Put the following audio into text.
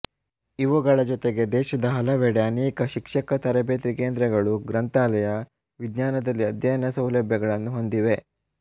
ಇವುಗಳ ಜೊತೆಗೆ ದೇಶದ ಹಲವೆಡೆ ಅನೇಕ ಶಿಕ್ಷಕ ತರಬೇತಿ ಕೇಂದ್ರಗಳು ಗ್ರಂಥಾಲಯ ವಿಜ್ಞಾನದಲ್ಲಿ ಅಧ್ಯಯನ ಸೌಲಭ್ಯಗಳನ್ನು ಹೊಂದಿವೆ